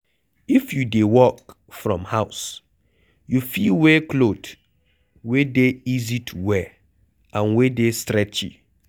If you dey work from house, you fit wear cloth wey dey easy to wear and wey dey stretchy